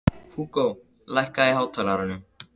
Húgó, lækkaðu í hátalaranum.